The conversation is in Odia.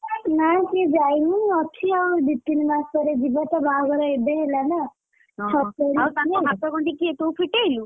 ନାଇ ସେ ଯାଇନି ଅଛି ଆଉ ଦି ତିନି ମାସ ପରେ ଯିବ ତା ବାହାଘର ଏବେ ହେଲାନା, ହଁ ହଁ ତାଙ୍କ ହାତଗଣ୍ଠି କି ଫିଟେଇଲା କିଏ ତୁ ଫିଟେଇଲୁ?